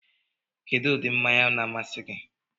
Kedu ụdị mmanya na-amasị gị?